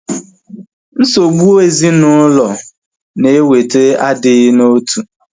Nsogbụ ezinaụlọ na-eweta agighi n'otu